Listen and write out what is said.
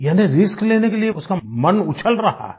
यानी रिस्क लेने के लिए उसका मन उछल रहा है